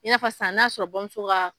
I n'a fɔ sisan n'a sɔrɔ bamùso ka